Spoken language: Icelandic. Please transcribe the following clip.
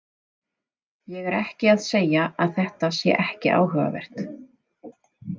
Ég er ekki að segja að þetta sé ekki áhugavert.